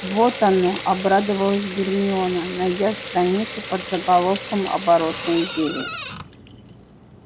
вот оно обрадовалась гермиона найдя страницу под заголовком оборотное зелье